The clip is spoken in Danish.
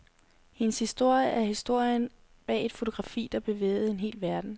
Hendes historie er historien bag et fotografi, der bevægede en hel verden.